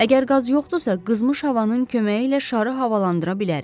Əgər qaz yoxdursa, qızmış havanın köməyi ilə şarı havalandıra bilərik.